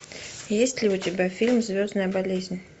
есть ли у тебя фильм звездная болезнь